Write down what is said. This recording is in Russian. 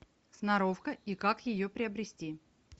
сноровка и как ее приобрести